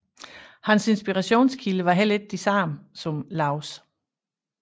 Hans inspirationskilder var heller ikke de samme som Laubs